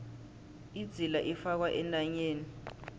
idzila ifakwa entanyeni